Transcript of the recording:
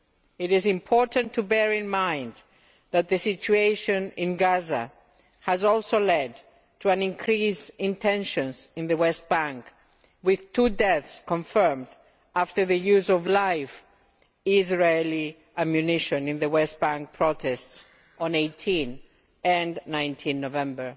It is important to bear in mind that the situation in Gaza has also led to an increase in tensions in the West Bank, with two deaths confirmed after the use of live Israeli ammunition in the West Bank protests on 18 and 19 November.